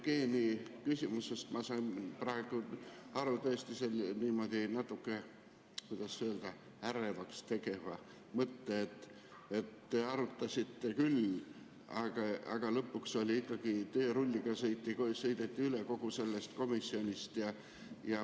Aga Jevgeni küsimusest ma sain praegu natuke, kuidas öelda, ärevaks tegeva mõtte, et te arutasite küll, aga lõpuks ikkagi sõideti teerulliga üle kogu sellest komisjonist.